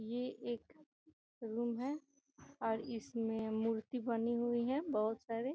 ये एक रूम है और इसमें मूर्ति बनी हुई है बहोत सारे।